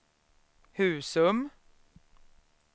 Husum